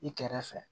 I kɛrɛfɛ